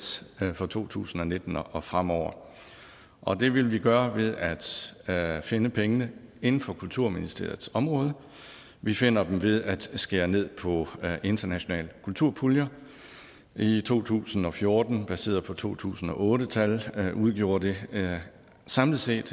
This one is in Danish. fra to tusind og nitten og fremover og det vil vi gøre ved at at finde pengene inden for kulturministeriets område vi finder dem ved at skære ned på internationale kulturpuljer i to tusind og fjorten baseret på to tusind og otte tal udgjorde det samlet set